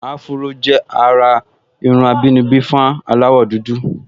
Áfúró jẹ́ àrà irun àbínibí fún aláwọ̀dúdú